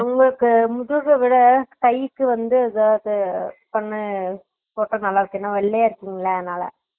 உங்களுக்கு முதுகவிட கைக்கு வந்து ஏதாவது பண்ணி போட்டா நல்லாருக்கும் ஏன்னா வெள்ளையாருக்கிங்களா அதுனால